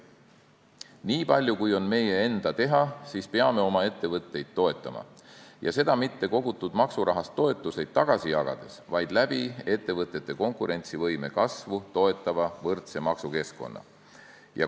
Niipalju, kui on meie enda teha, peame oma ettevõtteid toetama ja seda mitte kogutud maksurahast toetusi tagasi jagades, vaid ettevõtete konkurentsivõime kasvu toetava võrdse maksukeskkonna abil.